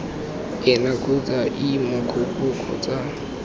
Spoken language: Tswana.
ena kgotsa ii mogokgo kgotsa